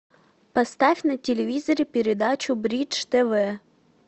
поставь на телевизоре передачу бридж тв